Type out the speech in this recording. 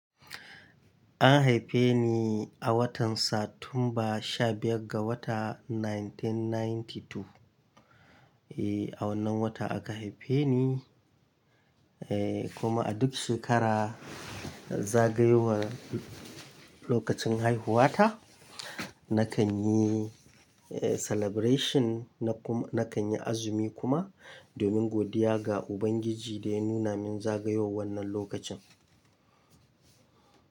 An haife ni a watan Satumba 15 ga wata 1992. Eh, a wannan wata aka haife ni, eh kuma a duk shekara zagayowar lokacin haihuwata, nakan yi celebration na kuma nakan yi azumi kuma domin godiya ga Ubangiji da ya nuna min zagayowar wannan lokacin.